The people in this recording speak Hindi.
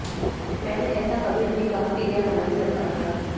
मैंने ऐसा कभी नहीं कहा कि यह हमारी सरकार का है